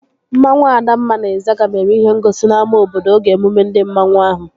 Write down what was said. Mmanwu Adamma na Ịzaga mere ihe ngosi n'ámá obodo oge emume ndi mmanwu ahụ